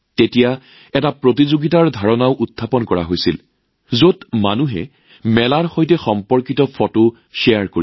তেতিয়াহে মনলৈ আহিল প্ৰতিযোগিতাৰ ধাৰণা যত মানুহে মেলাৰ সৈতে জড়িত ফটো শ্বেয়াৰ কৰিব